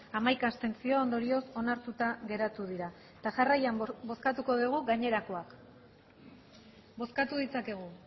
hamaika abstentzio ondorioz onartuta geratu dira eta jarraian bozkatuko dugu gainerakoak bozkatu ditzakegu